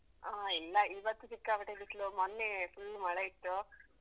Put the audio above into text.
ಆ ಇಲ್ಲ ಇವತ್ತು ಸಿಕ್ಕಾಪಟ್ಟೆ ಬಿಸ್ಲು ಮೊನ್ನೆ full ಮಳೆ ಇತ್ತು.